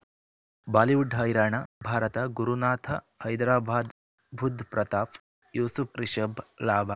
Bollywood ಹೈರಾಣ ಭಾರತ ಗುರುನಾಥ ಹೈದರಾಬಾದ್ ಬುಧ್ ಪ್ರತಾಪ್ ಯೂಸುಫ್ ರಿಷಬ್ ಲಾಭ